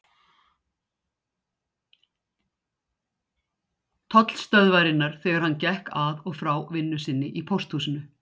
Tollstöðvarinnar þegar hann gekk að og frá vinnu sinni í Pósthúsinu.